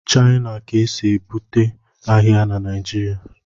China ka esi ebubata ahịa na Naijiria